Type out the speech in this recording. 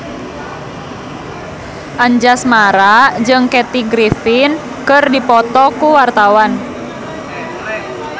Anjasmara jeung Kathy Griffin keur dipoto ku wartawan